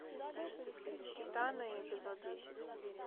титаны эпизод десять